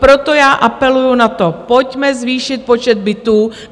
Proto já apeluji na to: pojďme zvýšit počet bytů.